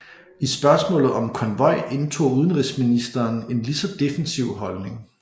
I spørgsmålet om konvoj indtog udenrigsministeren en lige så defensiv holdning